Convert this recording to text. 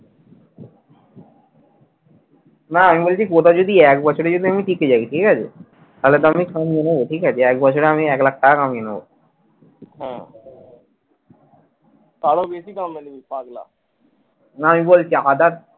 না আমি বলছি গতা যদি এক বছর ও যদি আমি টিকে যাই ঠিকাছে তাহলে তো আমি ঠিকাছে একবছরে আমি এক লাখ টাকা কামিয়ে নেবো। না আমি বলছি others